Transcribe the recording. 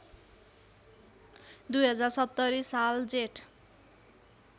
२०७० साल जेठ